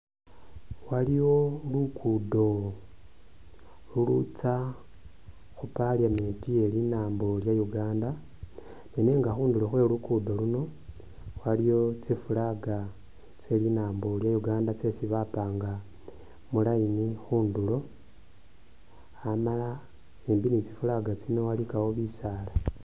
Waliwo lugudo lulutsya khu parliament iye linambo lya Uganda, nenga khundulo khwe lugudo luno waliyo tsi flag tse linambo lya Uganda tsesi bapanga mu line khundulo, amala shimbi ni tsi flag tsino walikawo bisaala.